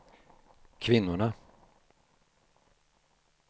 kvinnorna